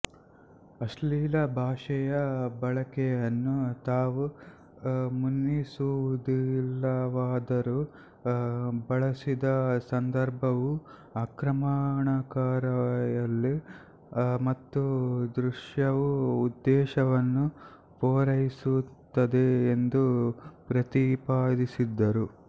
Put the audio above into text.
ಅಶ್ಲೀಲ ಭಾಷೆಯ ಬಳಕೆಯನ್ನು ತಾವು ಮನ್ನಿಸುವುದಿಲ್ಲವಾದರೂ ಬಳಸಿದ ಸಂದರ್ಭವು ಆಕ್ರಮಣಕಾರಿಯಲ್ಲ ಮತ್ತು ದೃಶ್ಯವು ಉದ್ದೇಶವನ್ನು ಪೂರೈಸುತ್ತದೆ ಎಂದು ಪ್ರತಿಪಾದಿಸಿದರು